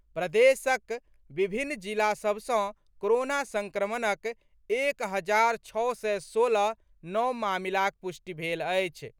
प्रदेशक विभिन्न जिला सभ सँ कोरोना संक्रमणक एक हजार छओ सय सोलह नव मामिलाक पुष्टि भेल अछि।